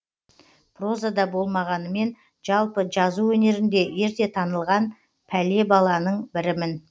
прозада болмағанымен жалпы жазу өнерінде ерте танылған пәле баланың бірімін